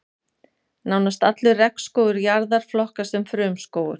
Nánast allur regnskógur jarðar flokkast sem frumskógur.